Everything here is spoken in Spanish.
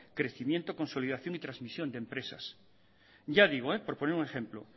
crecimiento consolidación y transmisión de empresas ya digo por poner un ejemplo